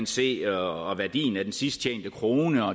se og værdien af den sidsttjente krone og